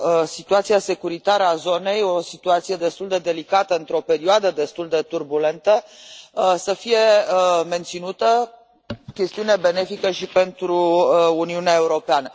situația securitară a zonei, o situație destul de delicată într o perioadă destul de turbulentă, să fie menținută, chestiune benefică și pentru Uniunea Europeană.